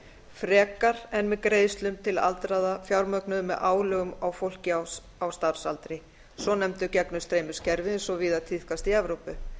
frekar en með greiðslum til aldraðra fjármögnuðu með álögum á fólk á starfsaldri svonefndu gegnumstreymiskerfi eins og víða tíðkast í evrópu